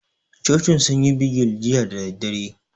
Cocin sun yi bigil jiya da daddare